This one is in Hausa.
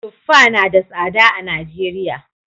Tuffa na da tsada a Najeriya